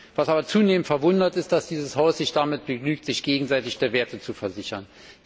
Was aber zunehmend verwundert, ist, dass dieses Haus sich damit begnügt, sich gegenseitig der Werte zu versichern.